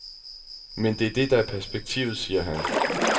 Men det er det, der er perspektivet, siger han.